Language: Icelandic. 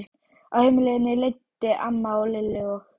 Á heimleiðinni leiddi amma Lillu og